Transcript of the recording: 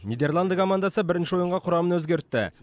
нидерланды командасы бірінші ойынға құрамын өзгертті